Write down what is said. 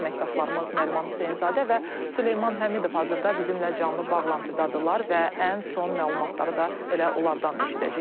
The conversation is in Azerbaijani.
Əməkdaşlarımız Nəriman Hüseynzadə və Süleyman Həmidov hazırda bizimlə canlı bağlantıdadırlar və ən son məlumatları da elə onlardan eşidəcəyik.